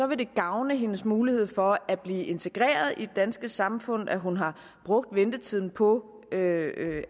vil det gavne hendes mulighed for at blive integreret i det danske samfund at hun har brugt ventetiden på